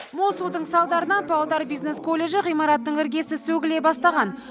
мол судың салдарынан павлодар бизнес колледжі ғимаратының іргесі сөгіле бастаған